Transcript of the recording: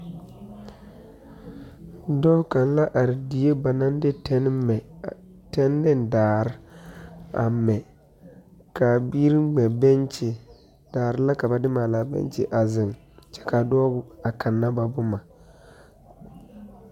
Dɔɔ kaŋa la are die ba naŋ de tenne mɛ, tenne ne daare a mɛ kaa biiri mɛ benkyi, daare la ka ba de maali a benkyi a zeŋ kyɛ kaa dɔɔ a kana ba boma.